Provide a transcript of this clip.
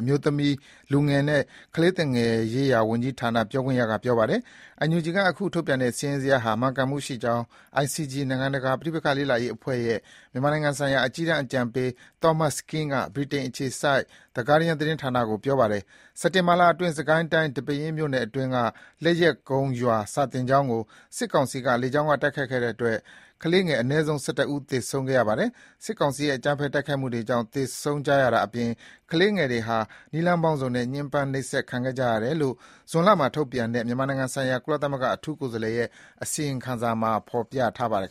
အမျိုးသမီး၊ လူငယ်နှင့် ကလေးသူငယ်ရေးရာဝန်ကြီးဌာန ပြောခွင့်ရက ပြောပါတယ်။ NUG က အခုထုတ်ပြန်တဲ့စာရင်းဟာ မှန်ကန်မှုရှိကြောင်း ICG နိုင်ငံတကာ ပဋိပက္ခ လေ့လာရေးအဖွဲ့ရဲ့ မြန်မာနိုင်ငံဆိုင်ရာ အကြီးတန်းအကြံပေး Thomas Kean ကလည်း ဗြိတိန်အခြေစိုက် The Guardian သတင်းဌာနကို ပြောပါတယ်။ စက်တင်ဘာလအတွင်း စစ်ကိုင်းတိုင်း၊ ဒီပဲယင်းမြို့နယ်အတွင်းက လက်ယက်ကုန်းရွာ စာသင်ကျောင်းကို စစ်ကောင်စီက လေကြောင်းက တိုက်ခိုက်ခဲ့တဲ့ဖြစ်ရပ်တခုတည်းမှာတင် ကလေးငယ်အနည်းဆုံး ၁၁ ဦး သေဆုံးခဲ့ရပါတယ်။ ဒီလို စစ်ကောင်စီရဲ့ အကြမ်းဖက်တိုက်ခိုက်မှုတွေကြောင့် သေဆုံးကြရတာအပြင် ကလေးငယ်တွေဟာ နည်းလမ်းပေါင်းစုံနဲ့ ညှဉ်းပန်း နှိပ်စက် ခံခဲ့ကြရတယ်လို့လည်း ဇွန်လမှာ ထုတ်ပြန်တဲ့ မြန်မာနိုင်ငံဆိုင်ရာ ကုလသမဂ္ဂ အထူးကိုယ်စားလှယ်ရဲ့ အစီရင်ခံစာမှာ ဖော်ပြထားပါတယ်